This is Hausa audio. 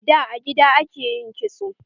Da, a gida ake yin kitso.